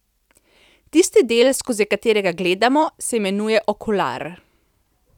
Tisti del, skozi katerega gledamo, se imenuje okular.